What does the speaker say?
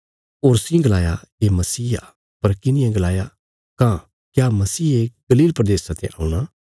होरसी गलाया ये मसीह आ पर किन्हिये गलाया कां क्या मसीहे गलील प्रदेशा ते औणा